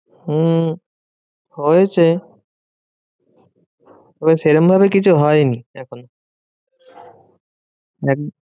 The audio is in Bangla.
হম হয়েছে তবে সেরম ভাবে কিছু হয়নি এখনো।